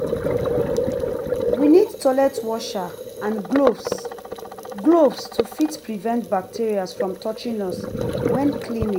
we need toilet washer and gloves gloves to fit prevent bacteria from touching us when cleaning